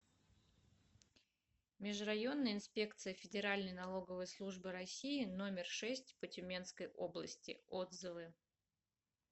межрайонная инспекция федеральной налоговой службы россии номер шесть по тюменской области отзывы